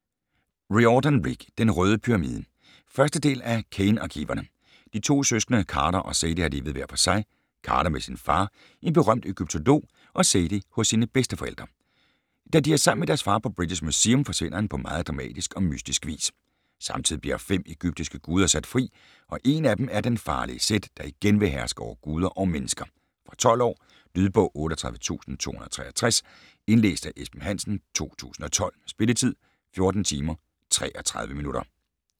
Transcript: Riordan, Rick: Den røde pyramide 1. del af Kane Arkiverne. De to søskende Carter og Sadie har levet hver for sig - Carter med sin far, en berømt egyptolog og Sadie hos sine bedsteforældre. Da de er sammen med deres far på British Museum, forsvinder han på meget dramatisk og mystisk vis. Samtidig bliver fem egyptiske guder sat fri, og en af dem er den farlige Set, der igen vil herske over guder og mennesker. Fra 12 år. Lydbog 38263 Indlæst af Esben Hansen, 2012. Spilletid: 14 timer, 33 minutter.